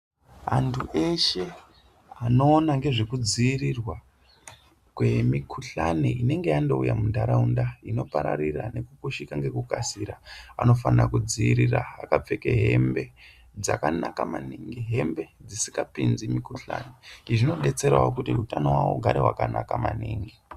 Antu eshe anoona ngezvekudziirirwa kwemikuhlane inenge yandouya muntaraunda inopararira nekupushika ngekukasika, vanofana kudziirira akapfeke hembe-hembe dzakanaka maningi. Hembe dzisingapinzi mikuhlane. Izvi zvinodetserawo kuti utano hwawo hunenge hwakanaka maningi.